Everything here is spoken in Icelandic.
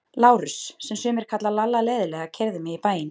Lárus, sem sumir kalla Lalla leiðinlega, keyrði mig í bæinn.